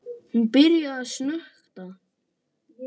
Hún byrjar að snökta.